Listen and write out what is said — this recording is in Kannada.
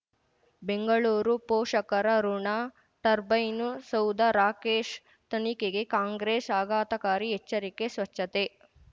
ಬೆಂಗಳೂರು ಪೋಷಕರಋಣ ಟರ್ಬೈನು ಸೌಧ ರಾಕೇಶ್ ತನಿಖೆಗೆ ಕಾಂಗ್ರೆಸ್ ಆಘಾತಕಾರಿ ಎಚ್ಚರಿಕೆ ಸ್ವಚ್ಛತೆ